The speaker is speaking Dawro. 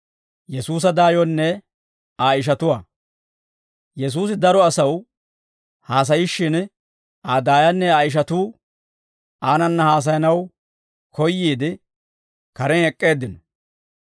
Yesuusi daro asaw haasayishshin, Aa daayanne Aa ishatuu aanana haasayanaw koyyiide, karen ek'k'eeddino.